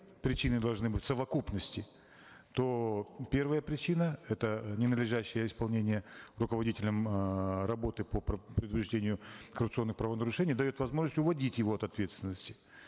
причины должны быть в совокупности то первая причина это ненадлежащее исполнение руководителем эээ работы по предупреждению коррупционных правонарушений дает возможность уводить его от ответственности